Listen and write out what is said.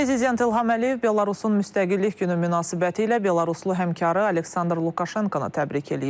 Prezident İlham Əliyev Belarusun Müstəqillik Günü münasibətilə Belaruslu həmkarı Aleksandr Lukaşenkonu təbrik eləyib.